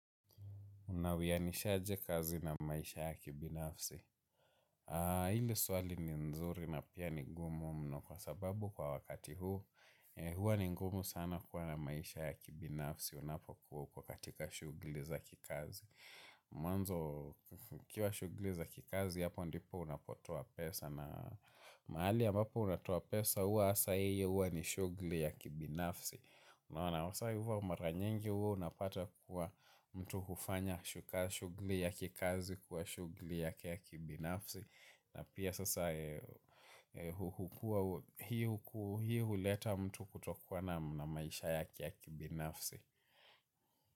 Unawiyanisha aje kazi na maisha ya kibinafsi. Hili swali ni nzuri na pia ni ngumu mno kwa sababu kwa wakati huu, huwa ni ngumu sana kuwa na maisha ya kibinafsi unapokuwa uko katika shughuli za kikazi. Mwanzo, ikiwa shughuli za kikazi, hapo ndipo unapotoa pesa mahali ambapo unatoa pesa, huwa hasa hiyo ni shughuli ya kibinafsi. Unaona sasa huwa mara nyingi huwa unapata kuwa mtu hufanya shughuli ya kikazi kuwa shughuli yake ya kibinafsi. Na pia sasa hukuwa hii huleta mtu kutokuwa na maisha yake ya kibinafsi.